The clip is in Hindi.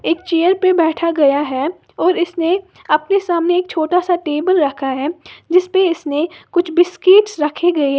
एक चेयर पे बैठ गया है और इसने अपने सामने एक छोटा सा टेबल रखा है जिस पे इसने कुछ बिस्किट्स रखे गए हैं।